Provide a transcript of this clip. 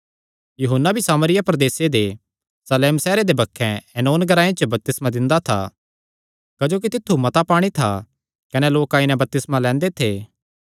यूहन्ना भी सामरिया प्रदेसे दे शालेम सैहरे दे बक्खे ऐनोन ग्रांऐ च बपतिस्मा दिंदा था क्जोकि तित्थु मता पाणी था कने लोक आई नैं बपतिस्मा लैंदे थे